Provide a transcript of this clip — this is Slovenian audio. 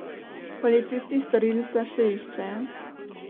Policisti storilca še iščejo.